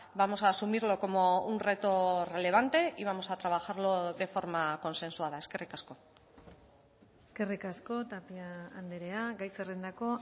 vamos a asumirlo como un reto relevante y vamos a trabajarlo de forma consensuada eskerrik asko eskerrik asko tapia andrea gai zerrendako